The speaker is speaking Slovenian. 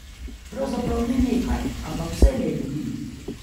Pravzaprav ne nekaj, ampak vselej ljudi.